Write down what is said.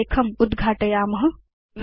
इति प्रलेखम् उद्घाटयेम